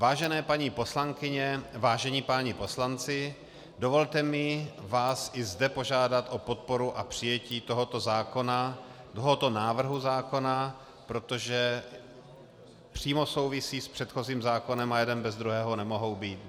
Vážené paní poslankyně, vážení páni poslanci, dovolte mi vás i zde požádat o podporu a přijetí tohoto návrhu zákona, protože přímo souvisí s předchozím zákonem a jeden bez druhého nemohou být.